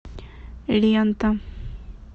лента